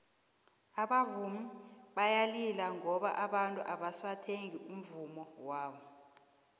abavumi bayalila ngoba abantu abasathengi umvummo wabo